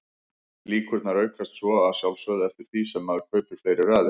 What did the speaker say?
Líkurnar aukast svo að sjálfsögðu eftir því sem maður kaupir fleiri raðir.